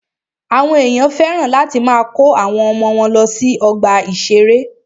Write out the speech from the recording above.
Àwọn ènìyàn féràn láti máa kó àwọn ọmọ wọ́n lọ sí ọgbà ìṣẹ̀rẹ́.